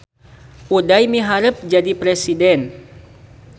Uday miharep jadi presiden